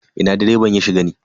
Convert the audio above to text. Ina direban ya shiga ne?